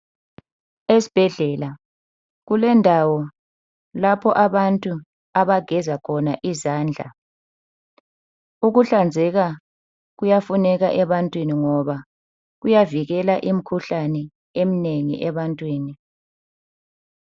Esibhedlela, kulendawo lapho abantu abageza khona izandla. Ukuhlanzeka kuyafuneka ebantwini ngoba kuyavikela imikhuhlane eminengi ebantwini.